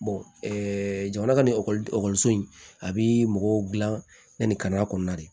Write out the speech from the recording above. jamana ka ni ekɔliso in a bi mɔgɔw gilan yanni ka di